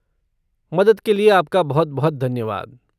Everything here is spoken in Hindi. मदद के लिए आपका बहुत बहुत धन्यवाद।